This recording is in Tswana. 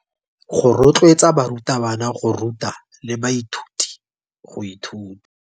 Go rotloetsa barutabana go ruta le baithuti go ithuta.